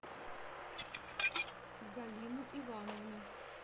галину ивановну